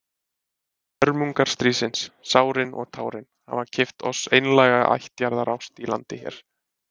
Hörmungar stríðsins, sárin og tárin, hafa keypt oss einlæga ættjarðarást í landi hér.